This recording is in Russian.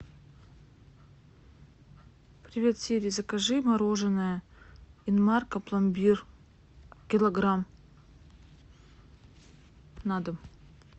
привет сири закажи мороженое инмарко пломбир килограмм на дом